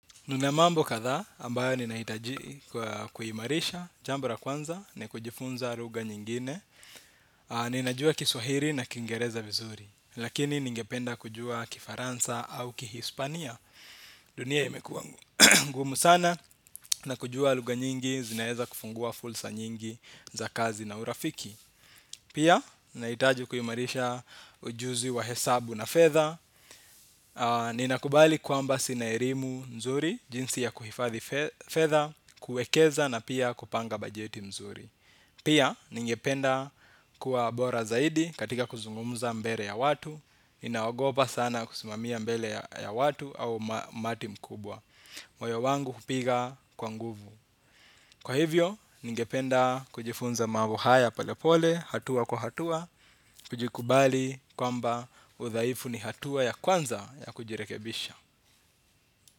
Kuna mambo kadha ambayo ninaitaji kuhimarisha jambo la kwanza ni kujifunza lugha nyingine. Ninajua kiswahili na kiingereza vizuri, lakini ningependa kujua kifaransa au kihispania dunia imekuwa ngu. Gumu sana na kujua lugha nyingi zinaeza kufungua fulsa nyingi za kazi na urafiki. Pia, naitaji kuhimarisha ujuzi wa hesabu na fedha. Ninakubali kwamba sina elimu mzuri. Jinsi ya kuhifadhi fedha kuekeza na pia kupanga bajeti mzuri. Pia ningependa kuwa bora zaidi. Katika kuzungumza mbele ya watu ninagopa sana kusimamia mbele ya watu au umati mkubwa. Moyo wangu hupiga kwa nguvu. Kwa hivyo ningependa kujifunza mambo haya pole pole. Hatua kwa hatua kujikubali kwamba udhaifu ni hatua ya kwanza ya kujirekebisha.